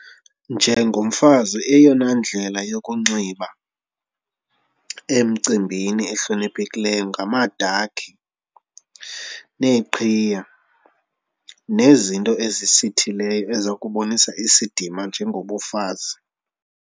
Njengomfazi eyona ndlela yokunxiba emcimbini ehloniphekileyo ngamadakhi neeqhiya nezinto ezisitheleyo eza kubonisa isidima njengobufazi.